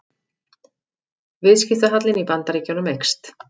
Viðskiptahallinn í Bandaríkjunum eykst